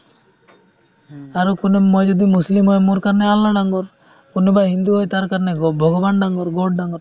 আৰু কোনো মই যদি মুছলীম হয় মোৰ কাৰণে আল্লাহ ডাঙৰ কোনোবাই হিন্দু হয় তাৰ কাৰণে গ ভগৱান ডাঙৰ god ডাঙৰ